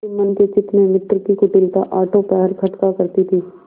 जुम्मन के चित्त में मित्र की कुटिलता आठों पहर खटका करती थी